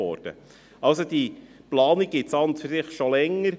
Diese Planung gibt es also schon länger.